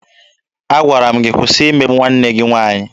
Agwara m gị kwụsị imegbu nwanne gị nwaanyị!